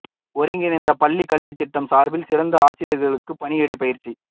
ஒருங்கிணைந்த பள்ளி கல்வித் திட்டம் சார்பில் சிறப்பு ஆசிரியர்களுக்கு பணியிடை பயிற்சி